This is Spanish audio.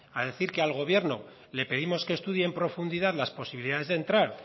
a decir que al gobierno le pedimos que estudie en profundidad las posibilidad de entrar